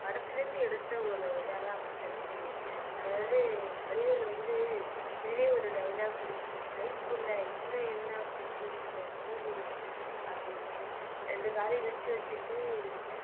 படத்துல இருந்து எடுத்த ஒரு இதாதான் வந்திருக்கு அதாவது வடிவேலு வந்து இதுலயும் ஒரு dialogue ஒண்ணு இருக்கும் கைப்புள்ள இன்னும் என்ன முழிச்சுட்டு இருக்க தூங்கு அப்படினு ரெண்டு காலையும் விரிச்சு வச்சுட்டு